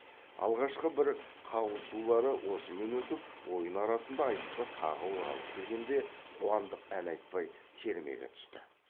алғашқы бір қағысулары осымен өтіп ойын арасында айтысқа тағы оралып келгенде қуандық ән айтпай термеге түсті